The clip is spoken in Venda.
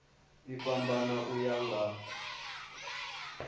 i fhambana u ya nga